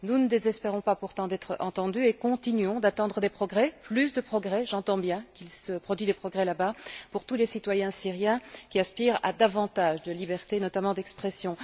Nous ne désespérons pas pourtant d'être entendus et continuons d'attendre des progrès, plus de progrès j'entends bien qu'il se produit des progrès là bas pour tous les citoyens syriens qui aspirent à davantage de liberté, notamment d'expression.